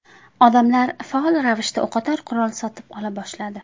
Odamlar faol ravishda o‘qotar qurol sotib ola boshladi.